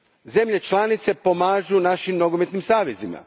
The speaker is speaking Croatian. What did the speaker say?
Zemlje članice pomažu našim nogometnim savezima.